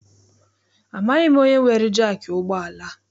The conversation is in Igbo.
Amaghị m onye weere jaakị ụgbọala a.